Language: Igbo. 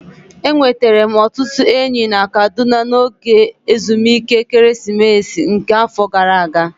Enwetara m ọtụtụ enyi na Kaduna n'oge ezumike ekeresimesi nke afọ gara aga